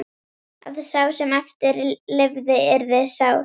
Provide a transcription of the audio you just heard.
Að sá sem eftir lifði yrði sár.